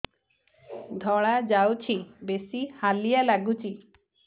ଧଳା ଯାଉଛି ବେଶି ହାଲିଆ ଲାଗୁଚି